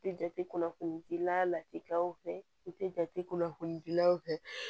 I tɛ jate kunnafoni gilan la latikaw fɛ i tɛ jate kunnafoni gilan fɛ